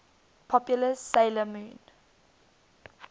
popular 'sailor moon